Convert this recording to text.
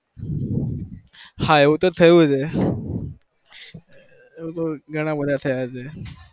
હા એવું તો થયું છે એવું તો ગણા બધા થયા છે